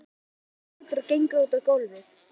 Hún rís á fætur og gengur út á gólfið.